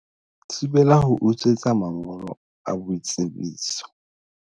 Thibela ho utswetswa mangolo a boitsebiso